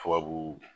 Tubabu